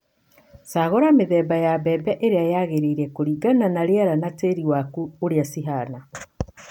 Cagũra mĩthemba ya mbembe ĩrĩa yagĩrĩire kũringana na rĩera na tĩĩri waku ũrĩa cihana.